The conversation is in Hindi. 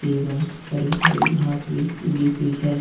एवं हरी हरी घास भी दी हुई है।